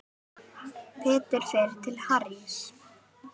Peter fer til Harrys.